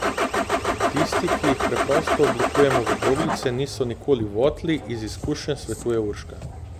Tisti, ki jih preprosto oblikujemo v kroglice, niso nikoli votli, iz izkušenj svetuje Urška.